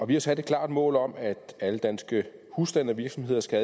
vi har sat et klart mål om at alle danske husstande og virksomheder skal